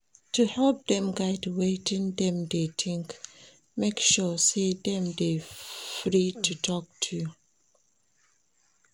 To help dem guide wetin dem de think make sure say dem de free to talk to you